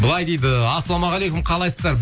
былай дейді ассалаумағалейкум қалайсыздар